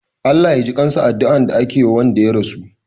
"Allah Ya jikansa" adduan da ake Wanda ya rasu